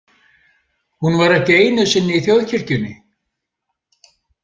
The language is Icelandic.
Hún var ekki einu sinni í Þjóðkirkjunni.